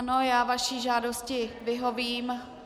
Ano, já vaší žádosti vyhovím.